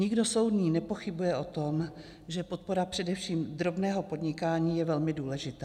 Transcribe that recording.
Nikdo soudný nepochybuje o tom, že podpora především drobného podnikání je velmi důležitá.